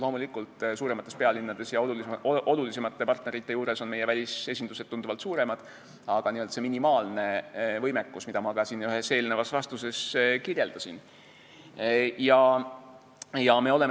Loomulikult, suuremates pealinnades ja olulisemate partnerite juures on meie välisesindused tunduvalt suuremad, aga on teada see minimaalne võimekus, mida ma ka ühes eelnevas vastuses kirjeldasin.